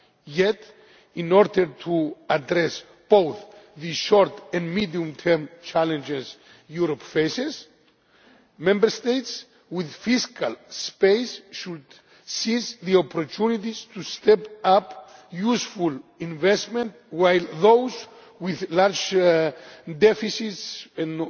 Yet, in order to address both the short and medium term challenges Europe faces, Member States with fiscal space should seize opportunities to step up useful investment, while those with large deficits